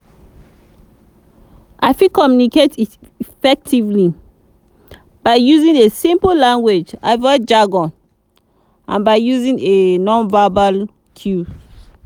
i fit communicate effectively by using a simple language avoid jargon and by using a non-verbal cues.